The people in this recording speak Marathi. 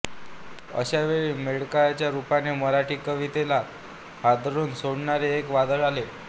अशा वेळी मर्ढेकरांच्या रूपाने मराठी कवितेला हादरवून सोडणारे एक वादळ आले